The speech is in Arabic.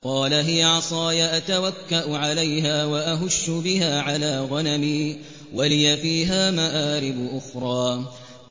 قَالَ هِيَ عَصَايَ أَتَوَكَّأُ عَلَيْهَا وَأَهُشُّ بِهَا عَلَىٰ غَنَمِي وَلِيَ فِيهَا مَآرِبُ أُخْرَىٰ